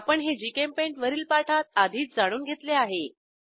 आपण हे जीचेम्पेंट वरील पाठात आधीच जाणून घेतले आहे